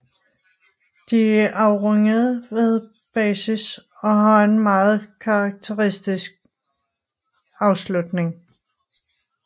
De er afrundede ved basis og har en meget karakteristisk but afslutning